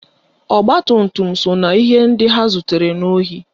Ọgbatumtum so na ihe ndị ha zutere n'ohi